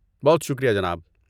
بہت شکریہ جناب۔